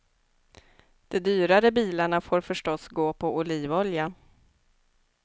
De dyrare bilarna får förstås gå på olivolja.